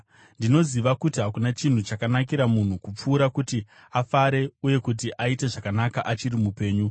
Ndinoziva kuti hakuna chinhu chakanakira munhu kupfuura kuti afare uye kuti aite zvakanaka achiri mupenyu.